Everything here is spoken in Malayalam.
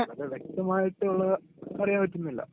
പക്ഷേ വ്യക്തമായിട്ടുള്ളത് അറിയാൻ പറ്റുന്നില്ല.